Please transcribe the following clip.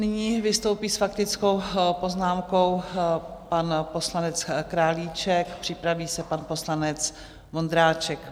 Nyní vystoupí s faktickou poznámkou pan poslanec Králíček, připraví se pan poslanec Vondráček.